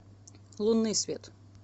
лунный свет